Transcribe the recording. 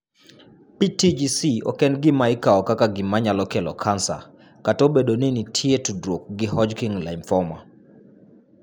PTGC ok en gima ikawo kaka gima nyalo kelo kansa, kata obedo ni nitie tudruok gi Hodgkin lymphoma.